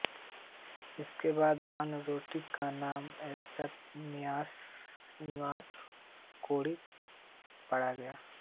इसके बाद लालकोठी का नाम यशवंत निवास कोठी पड गया